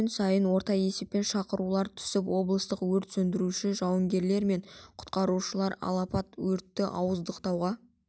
күн сайын орта есеппен шақырулар түсіп облыстық өрт сөндіруші жауынгерлері мен құтқарушылары алапат өртті ауыздықтауға